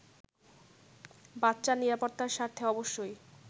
বাচ্চার নিরাপত্তার স্বার্থে অবশ্যই